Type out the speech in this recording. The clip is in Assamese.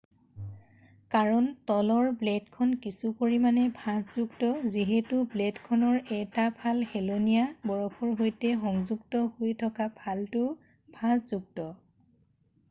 কাৰণ তলৰ ব্লেডখন কিছু পৰিমানে ভাঁজযুক্ত যিহেতু ব্লেডখনৰ 1টা ফাল হেলনীয়া বৰফৰ সৈতে সংযুক্ত হৈ থকা ফালটোও ভাঁজযুক্ত